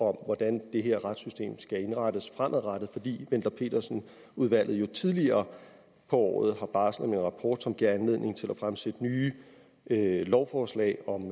hvordan det her retssystem skal indrettes fremadrettet fordi wendler pedersen udvalget jo tidligere på året barslede med en rapport som gav anledning til at fremsætte nye lovforslag om